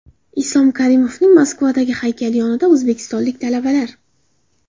Islom Karimovning Moskavadagi haykali yonidagi o‘zbekistonlik talabalar .